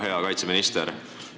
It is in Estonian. Hea kaitseminister!